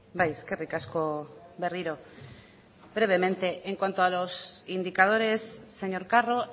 bai eskerrik asko berriro brevemente en cuanto a los indicadores señor carro